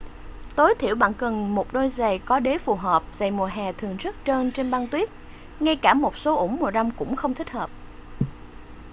tối thiểu bạn cần một đôi giày có đế phù hợp giày mùa hè thường rất trơn trên băng tuyết ngay cả một số ủng mùa đông cũng không thích hợp